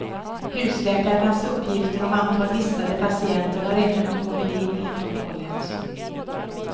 Husläkarnas uppgifter om antal listade patienter har ännu inte kommit in helt och hållet.